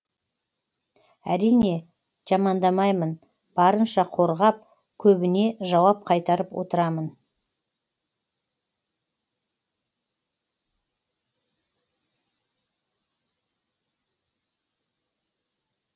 әрине жамандамаймын барынша қорғап көбіне жауап қайтарып отырамын